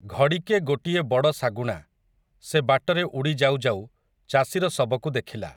ଘଡ଼ିକେ ଗୋଟିଏ ବଡ଼ଶାଗୁଣା, ସେ ବାଟରେ ଉଡ଼ି ଯାଉ ଯାଉ, ଚାଷୀର ଶବକୁ ଦେଖିଲା ।